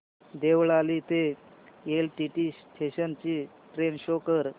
देवळाली ते LTT station ची train show कर